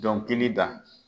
Dɔnkili da